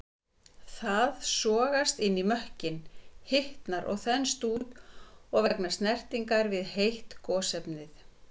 Það sogast inn í mökkinn, hitnar og þenst út vegna snertingar við heit gosefni.